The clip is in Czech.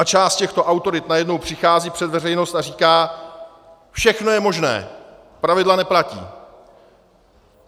A část těchto autorit najednou přichází před veřejnost a říká - všechno je možné, pravidla neplatí.